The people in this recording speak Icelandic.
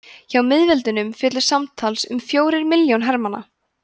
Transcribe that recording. hjá miðveldunum féllu samtals um fjórir milljónir hermanna